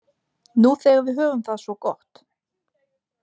Nú þegar við höfum það svo gott?